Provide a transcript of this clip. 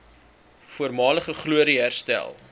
voormalige glorie herstel